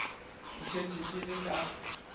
ke šetše ke le ka